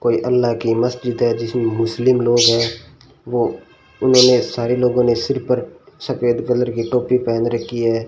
कोई अल्लाह की मस्जिद है जिसमें मुस्लिम लोग हैं वो उन्होंने सारे लोगों ने सिर पर सफेद कलर की टोपी पहन रखी है।